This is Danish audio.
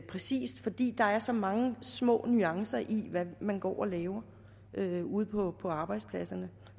præcist fordi der er så mange små nuancer i hvad man går og laver ude på på arbejdspladserne